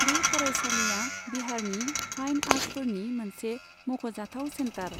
बे फरायसालिया बिहारनि फाइन आर्टफोरनि मोनसे मख'जाथाव सेन्टार।